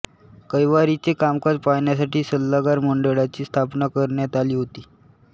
कैवारीचे कामकाज पाहण्यासाठी सल्लागार मंडळाची स्थापना करण्यात आली होती